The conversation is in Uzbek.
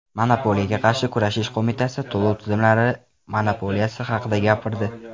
Monopoliyaga qarshi kurashish qo‘mitasi to‘lov tizimlari monopoliyasi haqida gapirdi.